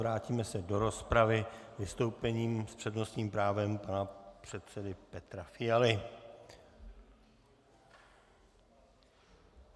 Vrátíme se do rozpravy vystoupením s přednostním právem pana předsedy Petra Fialy.